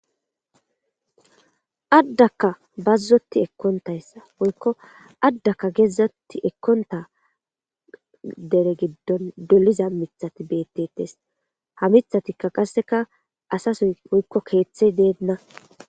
Addakka bazzoti ekkontayssa woykko addaka geeddzatti ekkonta dere giddon doliza mithati beettettes ha mithatikka qasseka asasoy poykko keeththe deenna.